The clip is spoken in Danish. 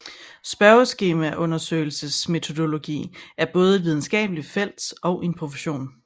Spørgeundersøgelsesmetodologi er både et videnskabeligt felt og en profession